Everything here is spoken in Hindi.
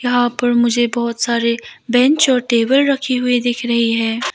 यहां पर मुझे बहोत सारे बेंच और टेबल रखें हुए दिख रही है।